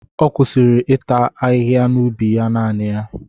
Ọ kwụsịrị ịta ahịhịa n'ubi ya naanị ya.